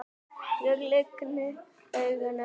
Ég lygni augunum.